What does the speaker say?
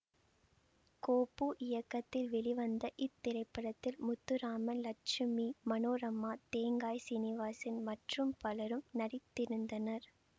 கோப்பு இயக்கத்தில் வெளிவந்த இத்திரைப்படத்தில் முத்துராமன் லட்சுமி மனோரமா தேங்காய் சீனிவாசன் மற்றும் பலரும் நடித்திருந்தனர்